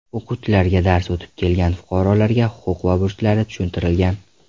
O‘quvchilarga dars o‘tib kelgan fuqarolarga huquq va burchlari tushuntirilgan.